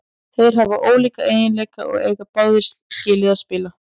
Þeir hafa ólíka eiginleika og eiga báðir skilið að spila.